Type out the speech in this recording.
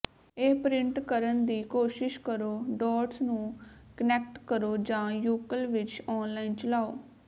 ਇਹ ਪ੍ਰਿੰਟ ਕਰਨ ਦੀ ਕੋਸ਼ਿਸ਼ ਕਰੋ ਡੌਟਸ ਨੂੰ ਕਨੈਕਟ ਕਰੋ ਜਾਂ ਯੂਕਲ ਵਿਚ ਆਨਲਾਈਨ ਚਲਾਉ